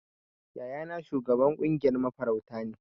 Yayana shugaban kungiyar mafarauta ne.